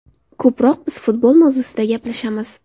Ko‘proq biz futbol mavzusida gaplashamiz.